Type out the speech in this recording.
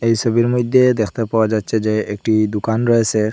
এই সবির মইধ্যে দেখতে পাওয়া যাচ্ছে যে একটি দুকান রয়েসে।